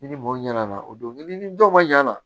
Ni ni mɔgɔ ɲɛna o don i ni dɔn ma ɲana